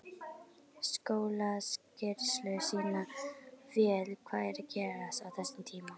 Skólaskýrslur sýna vel hvað er að gerast á þessum tíma.